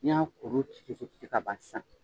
N'i y'a kuru ci ka ban sisan